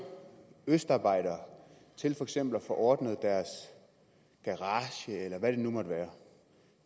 østarbejdere til for eksempel at få ordnet deres garage eller hvad det nu måtte være